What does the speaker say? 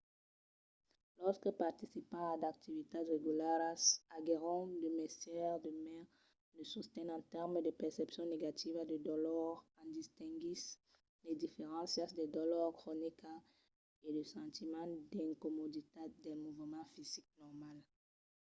los que participan a d’activitats regularas aguèron de mestièr de mai de sosten en tèrmes de percepcion negativa de dolor en distinguissent las diferéncias de dolor cronica e de sentiment d'incomoditat del movement fisic normal